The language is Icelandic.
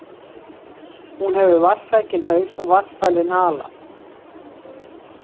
Hún hefur vatnssækinn haus og vatnsfælinn hala.